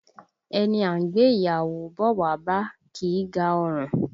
Ẹni a ń gbé ìyàwó bọ̀ wá bá, kì í ga ọrùn